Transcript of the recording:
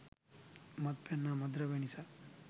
මත්පැන් හා මත් ද්‍රව්‍යය නිසා